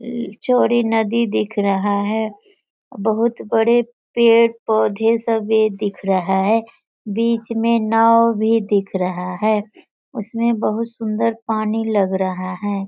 ये चौड़ी नदी दिख रहा है। बहुत बड़े पेड़-पौधे सब ये दिख रहा है। बीच में नाव भी दिख रहा है। उसमें बहुत सुन्दर पानी लग रहा है।